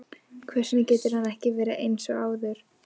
Hvers vegna getur hann ekki verið eins og áður?